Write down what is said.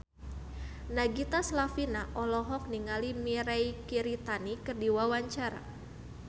Nagita Slavina olohok ningali Mirei Kiritani keur diwawancara